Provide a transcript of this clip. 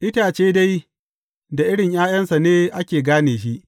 Itace dai, da irin ’ya’yansa ne ake gane shi.